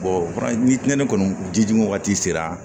ni ne kɔni ji di wagati sera